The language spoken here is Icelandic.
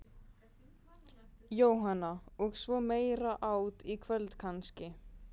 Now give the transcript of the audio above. Jóhanna: Og svo meira át í kvöld kannski?